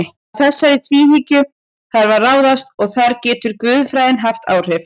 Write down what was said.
Að þessari tvíhyggju þarf að ráðast og þar getur guðfræðin haft áhrif.